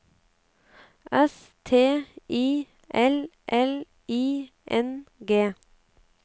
S T I L L I N G